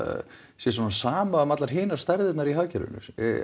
sé sama um allar hinar stærðirnar í hagkerfinu